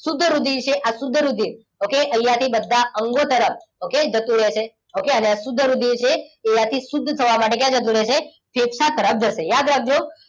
શુદ્ધ રુધિર છે આ શુદ્ધ રુધિર okay અહીંયાથી બધા અંગો તરફ okay જતું રહેશે. okay અને આ શુદ્ધ રુધિર છે. એ અહીંયા થી શુદ્ધ થવા માટે ક્યા જતું રહે છે? ફેફસા તરફ જશે યાદ રાખજો.